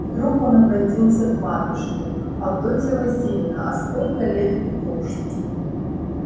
вдруг он обратился к матушке авдотья васильевна а сколько лет петруше